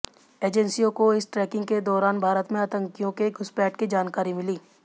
एजेंसियों को इस ट्रैकिंग के दौरान भारत में आतंकियों के घुसपैठ की जानकारी मिली